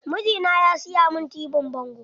Mijina ya siya min tibin bango.